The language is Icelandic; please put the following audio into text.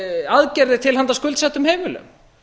aðgerðir til handa skuldsettum heimilum